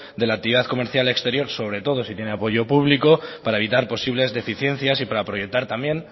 de la actividad comercial exterior sobre todo si tiene apoyo público para evitar posibles deficiencias y para proyectar también